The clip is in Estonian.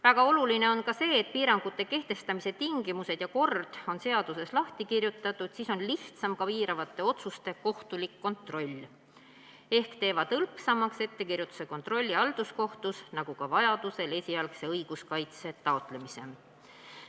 Väga oluline on ka see, et piirangute kehtestamise tingimused ja kord on seaduses lahti kirjutatud, siis on lihtsam ka piiravate otsuste kohtulik kontroll, need teevad hõlpsamaks ettekirjutuse ja kontrolli halduskohtus, nagu ka vajaduse korral esialgse õiguskaitse taotlemise.